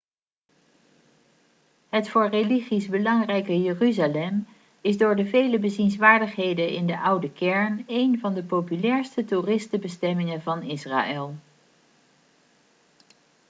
het voor religies belangrijke jeruzalem is door de vele bezienswaardigheden in de oude kern één van de populairste toeristenbestemmingen van israël